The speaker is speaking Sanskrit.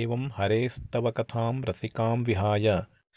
एवं हरेस्तव कथां रसिकां विहाय